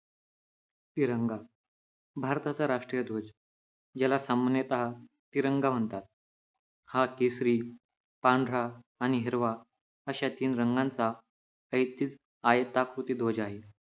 तिरंगा भारताचा राष्ट्रीय ध्वज ज्याला सामान्यता तिरंगा म्हणतात हा केशरी पांढरा आणि हिरवा अशा तीन रंगाचा ऐच्छिक आयताकृती ध्वज आहे